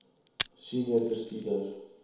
senior bestuurder smv